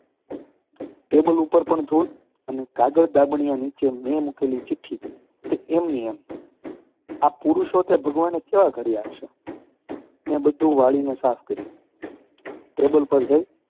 Table ઉપર પણ ધૂળ અને કાગળ-દાબણિયા નીચે મેં મૂકેલી ચિઠ્ઠી તે એમની એમ! આ પુરુષો તે ભગવાને કેવા ઘડયા હશે! મેં બધું વાળીને સાફ કર્યું. ટેબલ પર જોયું